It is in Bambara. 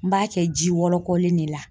N b'a kɛ ji wɔlɔkɔlen de la.